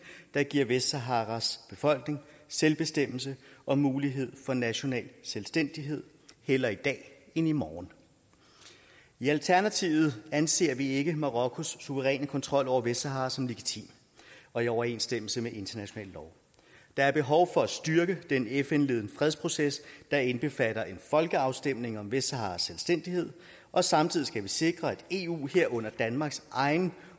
der giver vestsaharas befolkning selvbestemmelse og mulighed for national selvstændighed hellere i dag end i morgen i alternativet anser vi ikke marokkos suveræne kontrol over vestsahara som legitim og i overensstemmelse med international lov der er behov for at styrke den fn ledede fredsproces der indbefatter en folkeafstemning om vestsaharas selvstændighed og samtidig skal vi sikre at eus udenrigspolitik herunder danmarks egen